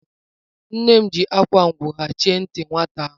Nne m jiri akwa owu hichaa ntị nwata ahụ.